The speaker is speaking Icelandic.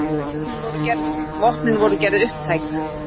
Vopnin voru gerð upptæk.